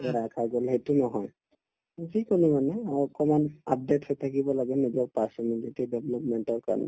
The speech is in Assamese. সেইটো নহয় মানে অ অকমান update হৈ থাকিব লাগে নিজৰ personality development ৰ কাৰণে